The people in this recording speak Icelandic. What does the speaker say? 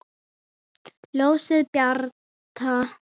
Ljósið bjarta!